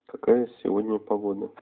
какая сегодня погода